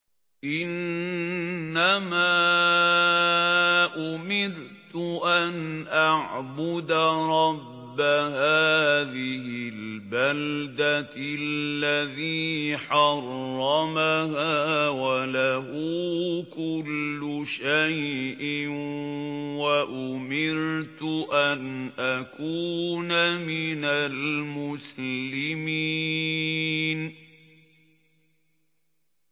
إِنَّمَا أُمِرْتُ أَنْ أَعْبُدَ رَبَّ هَٰذِهِ الْبَلْدَةِ الَّذِي حَرَّمَهَا وَلَهُ كُلُّ شَيْءٍ ۖ وَأُمِرْتُ أَنْ أَكُونَ مِنَ الْمُسْلِمِينَ